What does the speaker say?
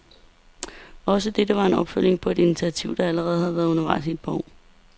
Også dette var en opfølgning på et initiativ, der allerede har været undervejs et par år.